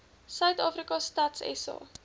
suidafrika stats sa